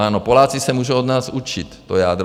Ano, Poláci se můžou od nás učit to jádro.